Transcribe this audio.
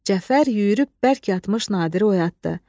Cəfər yüyürüb bərk yatmış Nadiri oyatdı.